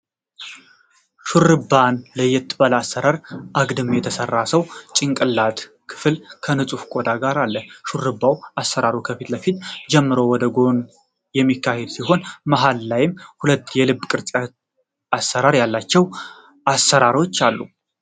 ሹርባን ለየት ባለ አሰራር አግድም የተሰራ ሰው ጭንቅላት ክፍል ከንጹህ ቆዳ ጋር አለ። የሹርባ አሰራሩን ከፊት ለፊት ጀምሮ ወደ ጎን የሚሄድ ሲሆን መሃል ላይም ሁለት የልብ ቅርጽ አሰራር ያላቸው አሰራሮች አሉት።